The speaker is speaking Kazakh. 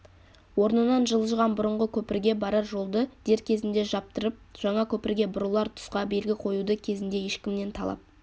орнынан жылжыған бұрынғы көпірге барар жолды дер кезінде жаптырып жаңа көпірге бұрылар тұсқа белгі қоюды кезінде ешкімнен талап